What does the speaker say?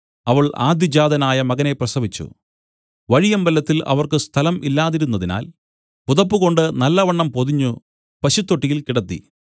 അവൾ ആദ്യജാതനായ മകനെ പ്രസവിച്ചു വഴിയമ്പലത്തിൽ അവർക്ക് സ്ഥലം ഇല്ലാതിരുന്നതിനാൽ പുതപ്പ് കൊണ്ട് നല്ലവണ്ണം പൊതിഞ്ഞു പശുത്തൊട്ടിയിൽ കിടത്തി